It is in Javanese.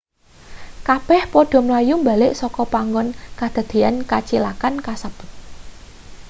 kabeh padha mlayu mbalik saka panggon kedadeyan kacilakan kasebut